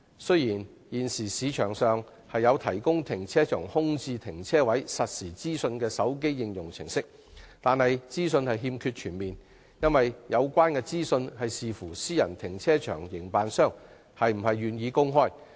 雖然，現時市場上有提供停車場空置停車位實時資訊的手機應用程式，但資訊並不全面，因為有關資訊須視乎個別私人停車場營辦商是否願意公開。